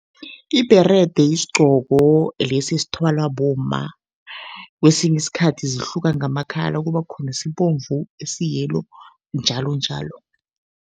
Ibherede yisigqoko lesi esithwalwa bomma. Kwesinye isikhathi zihluka ngama-colour, kuba khona esibomvu, esi-yellow njalonjalo.